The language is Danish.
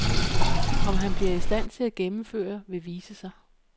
Om han bliver i stand til at gennemføre, vil vise sig.